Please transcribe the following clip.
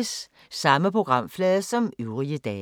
Samme programflade som øvrige dage